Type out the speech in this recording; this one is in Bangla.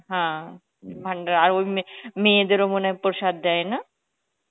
হ্যাঁ ভান্ডার, আর ওই মেয়েদের ও মনে হয় প্রসাদ দেয় না